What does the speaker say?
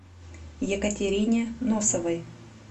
екатерине носовой